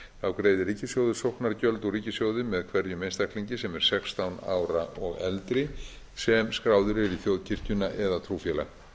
þá greiðir ríkissjóður sóknargjöld úr ríkissjóði með hverjum einstaklingi sem er sextán ára og eldri sem skráður er í þjóðkirkjuna eða trúfélag